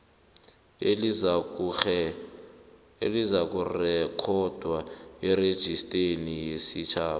elizakurekhodwa erejisteni yesitjhaba